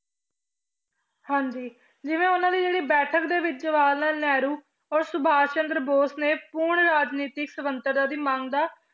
ਹਾਂਜੀ ਜਿਵੇਂ ਉਹਨਾਂ ਦੀ ਜਿਹੜੀ ਬੈਠਕ ਦੇ ਵਿੱਚ ਜਵਾਹਰ ਲਾਲ ਨਹਿਰੂ ਔਰ ਸੁਭਾਸ਼ ਚੰਦਰ ਬੋਸ਼ ਨੇ ਪੂਰਨ ਰਾਜਨੀਤਿਕ ਸੁਤੰਤਰਤਾ ਦੀ ਮੰਗ ਦਾ